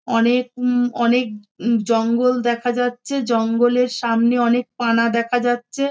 অনেক উম অনেক উ জঙ্গল দেখা যাচ্ছে জঙ্গলের সামনে অনেক পানা দেখা যাচ্ছে -এ।